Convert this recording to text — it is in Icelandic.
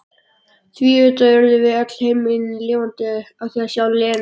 Því auðvitað urðum við öll himinlifandi yfir að sjá Lenu.